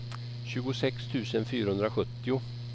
tjugosex tusen fyrahundrasjuttio